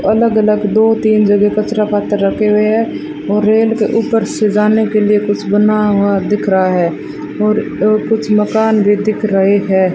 अलग अलग दो तीन जगह कचरा पात्र रखे हुए हैं और रेल के ऊपर से जाने के लिए कुछ बना हुआ दिख रहा है और कुछ मकान भी दिख रहे हैं।